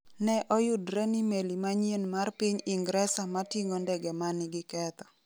Ne oyudre ni meli manyien mar piny Ingresa ma ting’o ndege ma nigi ketho